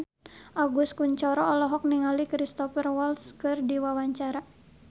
Agus Kuncoro olohok ningali Cristhoper Waltz keur diwawancara